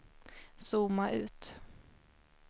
zooma ut